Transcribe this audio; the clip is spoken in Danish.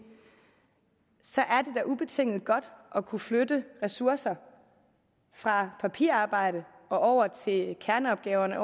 er ubetinget godt at kunne flytte ressourcer fra papirarbejde og over til kerneopgaverne